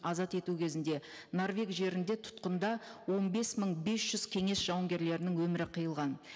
азат ету кезінде норвег жерінде тұтқында он бес мың бес жүз кеңес жауынгерлерінің өмірі қиылған